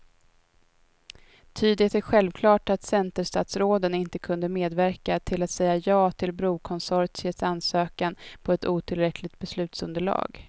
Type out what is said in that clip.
Ty det är självklart att centerstatsråden inte kunde medverka till att säga ja till brokonsortiets ansökan på ett otillräckligt beslutsunderlag.